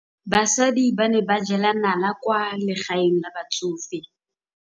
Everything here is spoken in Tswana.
Basadi ba ne ba jela nala kwaa legaeng la batsofe.